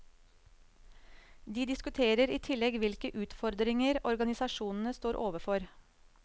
De diskuterer i tillegg hvilke utfordringer organisasjonene står overfor.